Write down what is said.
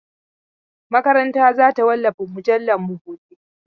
Makaranta za ta wallafa mujallarmu gobe.